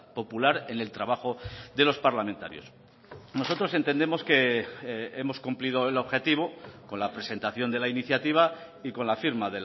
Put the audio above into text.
popular en el trabajo de los parlamentarios nosotros entendemos que hemos cumplido el objetivo con la presentación de la iniciativa y con la firma